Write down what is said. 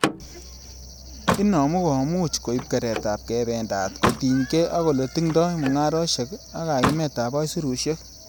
Inonu komuch koib keretab kebendat, kotiny gee ak ele tingdo mungarosiek ak kayumetab aisurusiek.